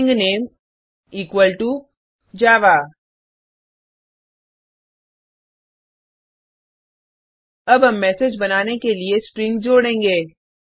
string name equal to Java अब हम message बनाने के लिए स्ट्रिंग जोडेंगे